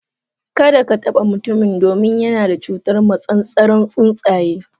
Kada ka taba mutumin domin yana da cutar massasaran tsuntsaye.